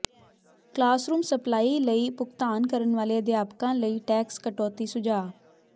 classroom supply ਲਈ ਭੁਗਤਾਨ ਕਰਨ ਵਾਲੇ ਅਧਿਆਪਕਾਂ ਲਈ ਟੈਕਸ ਕਟੌਤੀ ਸੁਝਾਅ